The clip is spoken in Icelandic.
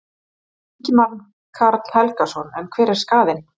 Ingimar Karl Helgason: En hver er skaðinn?